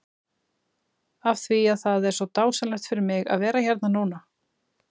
Af því að það er svo dásamlegt fyrir mig að vera hérna núna?